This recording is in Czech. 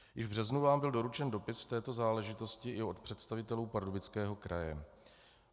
Již v březnu vám byl doručen dopis v této záležitosti i od představitelů Pardubického kraje.